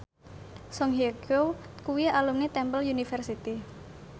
Song Hye Kyo kuwi alumni Temple University